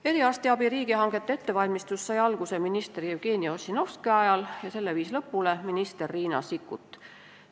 Eriarstiabi riigihangete ettevalmistus sai alguse minister Jevgeni Ossinoski ajal ja selle viis lõpule minister Riina Sikkut.